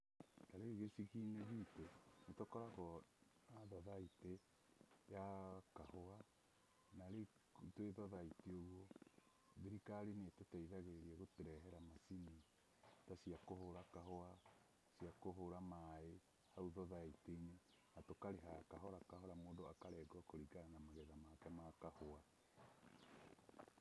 Ta rĩu gĩcagi-inĩ gitũ nĩ tũkoragwo na thothaitĩ ya kahũa, na rĩu twĩ thothaitĩ ũguo, thirikari nĩ ĩtũteithagia gũtũrehera macini ta cia kũhũra kahũa, cia kũhũra maĩ, hau thothaitĩ-inĩ, na tũkarĩha kahora kahora mũndũ akarengwo kũringana na magetha make ma kahũa